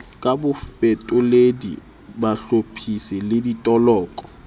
ka bafetoledi bahlophisi le ditoloko